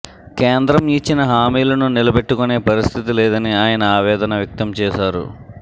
కేంద్రం ఇచ్చిన హామీలను నిలబెట్టుకునే పరిస్థితి లేదని ఆయన ఆవేదన వ్యక్తం చేశారు